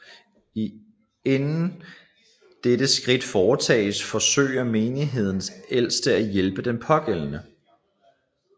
Inden dette skridt foretages forsøger menighedens ældste at hjælpe den pågældende